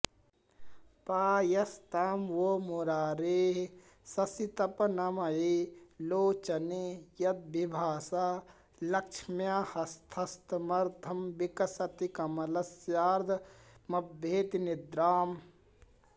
पायास्तां वो मुरारेः शशितपनमये लोचने यद्विभासा लक्ष्म्या हस्तस्थमर्धं विकसति कमलस्यार्धमभ्येति निद्राम्